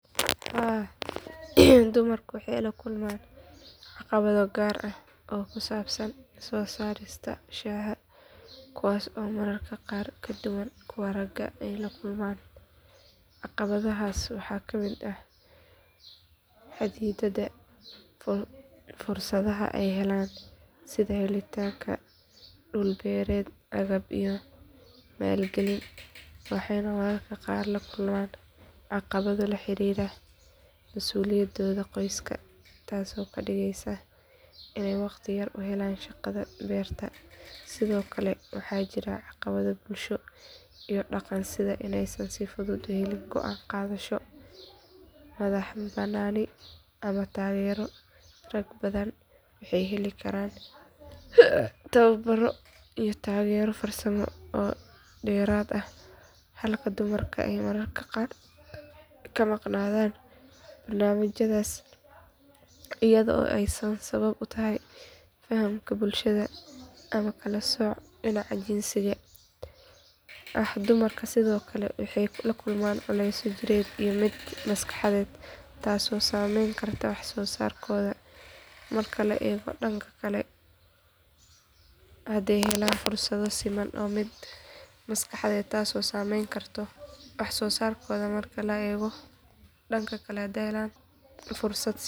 Haa dumarka waxay la kulmaan caqabado gaar ah oo ku saabsan soo saarista shaaha kuwaas oo mararka qaar ka duwan kuwa ragga ay la kulmaan caqabadahaas waxaa ka mid ah xadidaadda fursadaha ay helaan sida helitaanka dhul beereed agab iyo maalgelin waxayna mararka qaar la kulmaan caqabado la xiriira masuuliyadooda qoyska taasoo ka dhigaysa inay waqti yar u helaan shaqada beerta sidoo kale waxaa jirta caqabado bulsho iyo dhaqan sida inaysan si fudud u helin go’aan qaadasho madaxbannaani ama taageero rag badan waxay heli karaan tababaro iyo taageero farsamo oo dheeraad ah halka dumarka ay mararka qaar ka maqnaadaan barnaamijyadaas iyada oo ay sabab u tahay faham bulsheed ama kala sooc dhinaca jinsiga ah dumarku sidoo kale waxay la kulmaan culaysyo jireed iyo mid maskaxeed taasoo saameyn karta wax soo saarkooda marka la eego dhanka kale hadday helaan fursado siman.